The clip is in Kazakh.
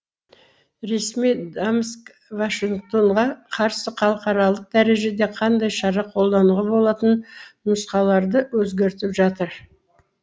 ресми дамск вашингтонға қарсы халықаралық дәрежеде қандай шара қолдануға болатын нұсқаларды өзгертіп жатыр